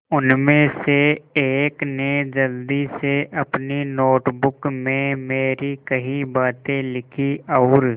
उनमें से एक ने जल्दी से अपनी नोट बुक में मेरी कही बातें लिखीं और